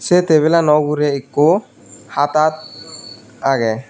se tebilano uguri ekku hata agey.